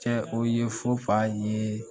Cɛ o ye